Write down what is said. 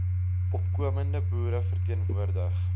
opkomende boere verteenwoordig